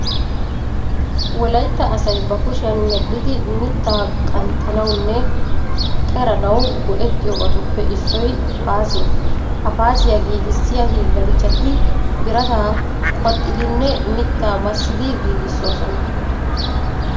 Wolaytta aaay ba kushiyan medhdhidi mittaa qanxxanawunne qeranawu go"ettiyobatuppe issoy paasiya. Ha Paasiya giigissiya hiillanchchati birataa qoxxidinne mittaa massidi giigissoosona.